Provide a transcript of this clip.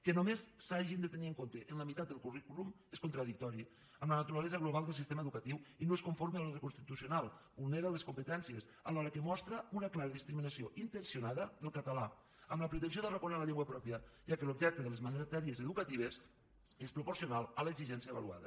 que només s’hagi de tenir en compte la meitat del currículum és contradictori amb la naturalesa global del sistema educatiu i no és conforme a l’ordre constitucional vulnera les competències alhora que mostra una clara discriminació intencionada del català amb la pretensió d’arraconar la llengua pròpia ja que l’objecte de les matèries educatives és proporcional a l’exigència avaluada